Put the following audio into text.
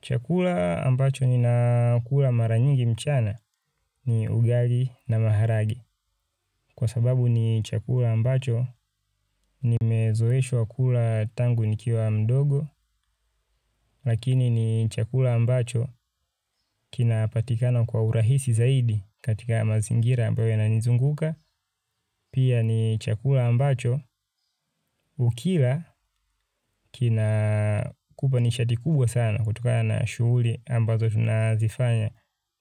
Chakula ambacho ninakula mara nyingi mchana ni ugali na maharage. Kwa sababu ni chakula ambacho nimezoeshwa kula tangu nikiwa mdogo. Lakini ni chakula ambacho kinapatikana kwa urahisi zaidi katika mazingira ambayo yananizunguka. Pia ni chakula ambacho ukila kinakupa nishati kubwa sana kutokana na shughuli ambazo tunazifanya